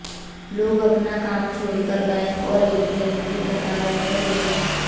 लोग अपना काम छोड़कर बैंक और एटीम की कतारों में लगे हैं